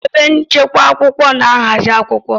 Ebe nchekwa akwụkwọ na-ahazi akwụkwọ